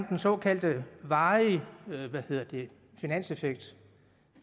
den såkaldte varige finanseffekt